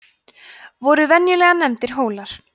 voru venjulega nefndir hólar